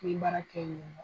N bɛ baara kɛ